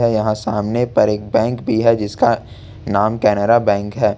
यहां सामने पर एक बैंक भी है जिसका नाम केनरा बैंक है।